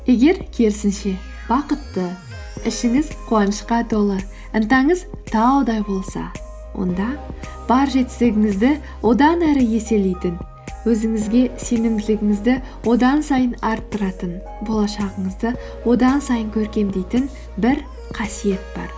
егер керісінше бақытты ішіңіз қуанышқа толы ынтаңыз таудай болса онда бар жетістігіңізді одан әрі еселейтін өзіңізге сенімділігіңізді одан сайын арттыратын болашағыңызды одан сайын көркемдейтін бір қасиет бар